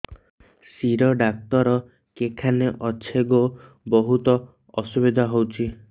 ଶିର doctor କେଖାନେ ଅଛେ ଗୋ ବହୁତ୍ ଅସୁବିଧା ହଉଚି